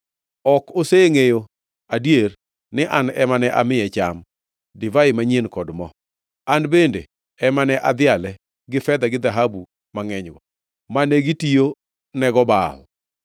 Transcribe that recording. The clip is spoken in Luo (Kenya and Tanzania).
Ok osengʼeyo adier ni an ema ne amiye cham, divai manyien kod mo, an bende ema ne adhiale gi fedha gi dhahabu mangʼenygo mane gitiyo nego Baal.